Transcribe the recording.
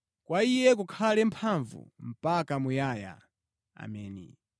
Kwa Iye kukhale mphamvu mpaka muyaya, Ameni.